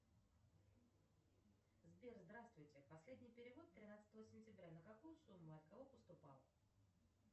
сбер здравствуйте последний перевод тринадцатого сентября на какую сумму и от кого поступал